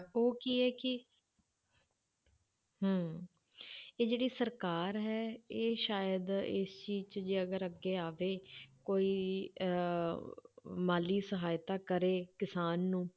ਉਹ ਕੀ ਹੈ ਕਿ ਹਮ ਇਹ ਜਿਹੜੀ ਸਰਕਾਰ ਹੈ ਇਹ ਸ਼ਾਇਦ ਇਸ ਚੀਜ਼ 'ਚ ਜੇ ਅਗਰ ਅੱਗੇ ਆਵੇ ਕੋਈ ਅਹ ਮਾਲੀ ਸਹਾਇਤਾ ਕਰੇ ਕਿਸਾਨ ਨੂੰ